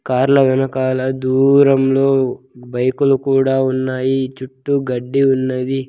కార్ల వెనకాల దూరంలో బైకులు కూడా ఉన్నాయి చుట్టూ గడ్డి ఉన్నది.